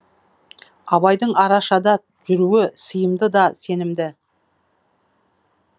абайдың арашада жүруі сиымды да сенімді